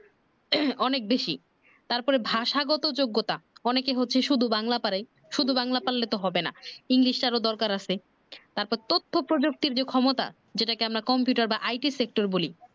অনেক বেশি তারপরে ভাষাগত যোগ্যতা অনেকের হচ্ছে শুধু বাংলা পারে, শুধু বাংলা পারলে তো হবে না english টারও দরকার আছে তারপর তথ্য প্রযুক্তির যে ক্ষমতা যেটাকে আমরা computer বা IT sector বলি